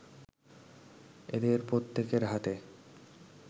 এদের প্রত্যেকের হাতে